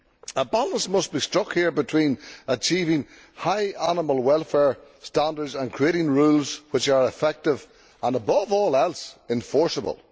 A balance must be struck here between achieving high animal welfare standards and creating rules which are effective and, above all else, enforceable.